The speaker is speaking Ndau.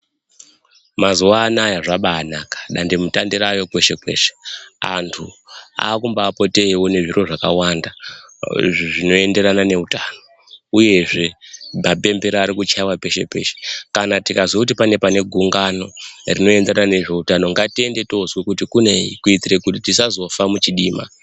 Mazuwa anaya zvabaanaka ,dandemutande raayo kweshe-kweshe. Anthu aakumbaapote eiona zviro zvakawanda zvinoenderana neutano ,uyezve mapembera ari kuchaiwa peshe-peshe. Kana tikazwa kuti pane pane gungano rinoenderana nezveutano ngatiende toozwa kuti kunei kuitira kuti tisazofa muchidima.